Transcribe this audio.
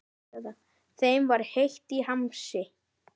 Þeim var heitt í hamsi.